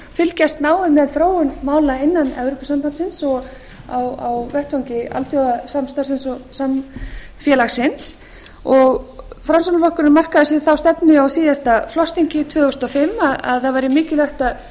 fylgjast náið með þróun mála innan evrópusambandsins og á vettvangi alþjóðasamstarfi og samfélagsins framsóknarflokkurinn markaði sér þá stefnu á síðasta flokksþingi tvö þúsund og fimm að það væri mikilvægt að